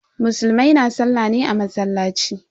Musulmai na sallah ne a masallaci.